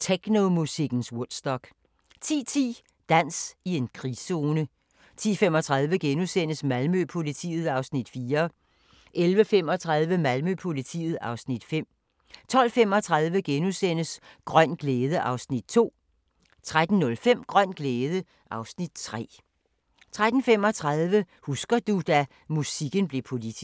Technomusikkens Woodstock * 10:10: Dans i en krigszone 10:35: Malmø-politiet (Afs. 4)* 11:35: Malmø-politiet (Afs. 5) 12:35: Grøn glæde (Afs. 2)* 13:05: Grøn glæde (Afs. 3) 13:35: Husker du – da musikken blev politisk